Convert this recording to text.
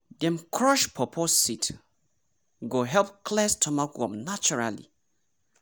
dem crush pawpaw seed go help clear stomach worm naturally.